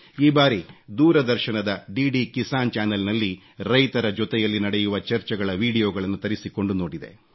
ಈ ಬಾರಿ ದೂರದರ್ಶನದ ಡಿಡಿ ಕಿಸಾನ್ ಚ್ಯಾನೆಲ್ ನಲ್ಲಿ ರೈತರ ಜೊತೆಯಲ್ಲಿ ನಡೆಯುವ ಚರ್ಚೆಗಳ ವೀಡಿಯೊಗಳನ್ನು ತರಿಸಿಕೊಂಡು ನೋಡಿದೆ